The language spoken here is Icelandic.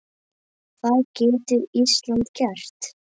Hvað getur Ísland gert?